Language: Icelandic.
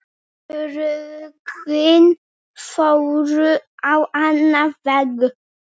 Örlögin fóru á annan veg.